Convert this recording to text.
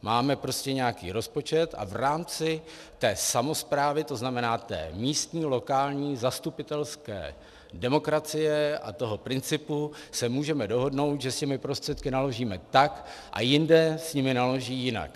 Máme prostě nějaký rozpočet a v rámci té samosprávy, to znamená té místní, lokální zastupitelské demokracie a toho principu, se můžeme dohodnout, že s těmi prostředky naložíme tak, a jinde s nimi naloží jinak.